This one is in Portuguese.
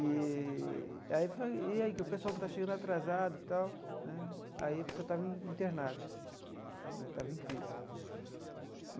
Eee aí falei e aí que o pessoal que está chegando atrasado e tal né, aí a pessoa estava internada né, estava em crise.